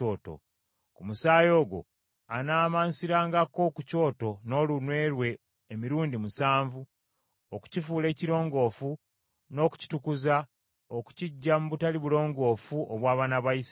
Ku musaayi ogwo anaamansirangako ku kyoto n’olunwe lwe emirundi musanvu okukifuula ekirongoofu n’okukitukuza okukiggya mu butali bulongoofu obw’abaana ba Isirayiri.